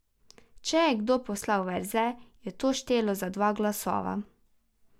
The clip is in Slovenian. Če je kdo poslal verze, je to štelo za dva glasova.